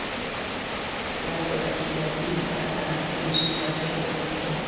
Leggur ekki í að ýta enn einu sinni á bjölluhnappinn.